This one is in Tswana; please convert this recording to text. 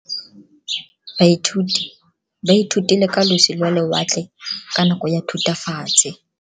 Baithuti ba ithutile ka losi lwa lewatle ka nako ya Thutafatshe.